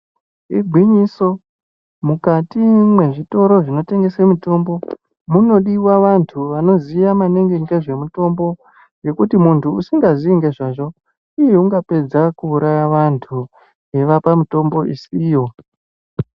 Iginyiso mukati mwezvitoro zvinotengese mitombo munodiva vantu vanoziya maningi ngezvemutombo. Ngekuti muntu usingazii ngezvazvo ungapedza kuuraya vantu eivapa mutombo isiyo.